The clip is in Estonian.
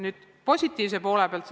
Nüüd positiivse poole pealt.